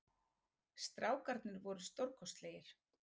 Strákarnir voru stórkostlegir